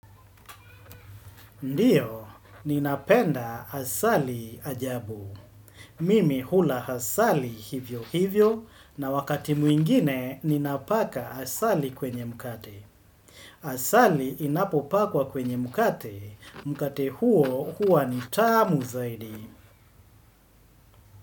Ndiyo, ninapenda asali ajabu. Mimi hula asali hivyo hivyo, na wakati mwingine ninapaka asali kwenye mkate. Asali inapopakwa kwenye mkate, mkate huo huwa ni tamu zaidi.